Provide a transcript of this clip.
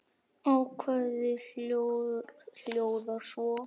Ákvæðið hljóðar svo